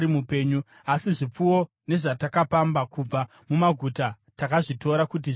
Asi zvipfuwo nezvatakapamba kubva mumaguta takazvitora kuti zvive zvedu.